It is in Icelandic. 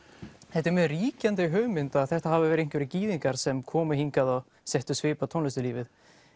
þetta er mjög ríkjandi hugmynd að þetta hafi verið einhverjir gyðingar sem komu hingað og settu svip á tónlistarlífið